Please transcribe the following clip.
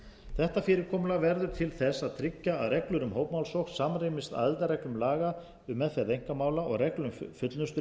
þetta fyrirkomulag verði til þess að tryggja að reglur um hópmálsókn samrýmist aðildarreglum laga um meðferð einkamála og reglu um fullnusturéttarfars um